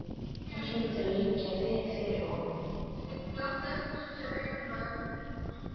Hún hlyti að liggja vel fyrir honum.